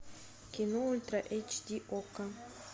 кино ультра эйч ди окко